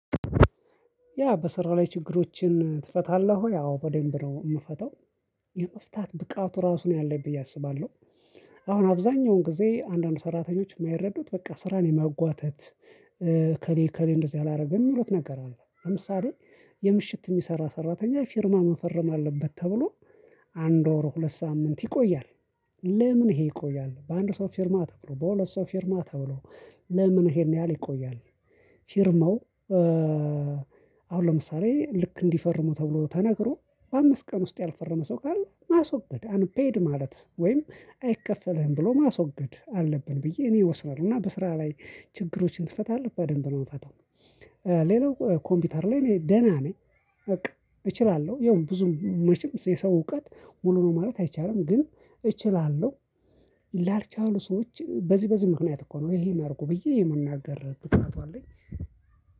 ያ በስራ ላይ ችግሮችን ትፈታለህ ወይ? አዎ በደንብ ነው የምፈታው የመፍታት ብቃት ራሱ ነው ያለኝ ብዬ አስባለሁ። አሁን አብዛኛውን ጊዜ አንዳንድ ሰራተኞች የማይረዱት በቃ ስራን የማጓተት። እከሌ እከሌ እንደዚህ አላረገም የሚሉት ነገር አለ። ለምሳሌ የምሽት የሚሰራ ሰራተኛ ፊርማ መፈረም አለበት ተብሎ አንድ ወር ሁለት ሳምንት ይቆያል። ለምን ይሄ ይቆያል በአንድ ሰው ፊርማ በሁለት ሰው ፊርማ ተብሎ? ለምን ይሄን ያህል ይቆያል? ፊርማው። አሁን ለምሳሌ ልክ እንዲፈርሙ ተብሎ ተነግሮ በአምስት ቀን ውስጥ ያልፈረመ ሰው ካለ ማስወገድ አንፔድ ማለት ወይም አይከፈልህም ብሎ ማስወገድ አለብን ብዬ እኔ እወስዳለሁ። እና በስራ ላይ ችግሮችን ትፈታለህ በደንብ ነው የምፈታው። ሌላው ኮምፒውተር ላይ እኔ ደህና ነኝ በቃ እችላለሁ ይኸውም ብዙም መቼም የሰው እውቀት ሙሉ ነው ማለት አይቻልም ግን እችላለሁ። ላልቻሉ ሰዎች በዚህ በዚህ ምክንያት እኮ ነው ይሄን አድርጉ ብዬ የመናገር ብቃቱ አለኝ።